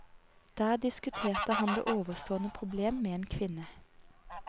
Der diskuterte han det ovenstående problem med en kvinne.